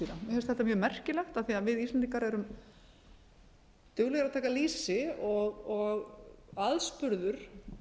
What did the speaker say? finnst þetta mjög merkilegt af því að við íslendingar erum duglegir að taka lýsi og aðspurður